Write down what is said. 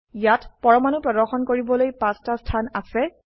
ইয়াত পৰমাণু প্ৰদৰ্শন কৰিবলৈ 5 টা স্থান আছে